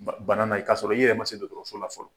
Ba bana na, i k'a sɔrɔ i yɛrɛ ma se dɔgɔtɔrɔso la fɔlɔ.